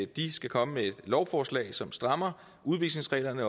de skal komme med et lovforslag som strammer udvisningsreglerne